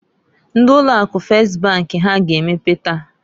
Ndi ụlọ akụ Fes bank ha a ga emepe taa?